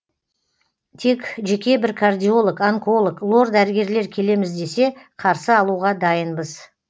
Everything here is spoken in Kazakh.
тек жеке бір кардиолог онколог лор дәрігерлер келеміз десе қарсы алуға дайынбыз